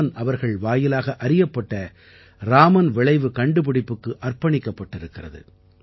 இராமன் அவர்கள் வாயிலாகப் அறியப்பட்ட ராமன் விளைவு கண்டுபிடிப்புக்கு அர்ப்பணிக்கப்பட்டிருக்கிறது